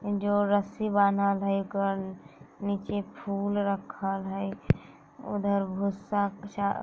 जो रस्सी बाँधल हई गल नीचे फूल रखल हई उधर भूसा चो --